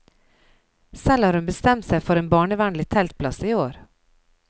Selv har hun bestemt seg for en barnevennlig teltplass i år.